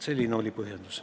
Selline oli põhjendus.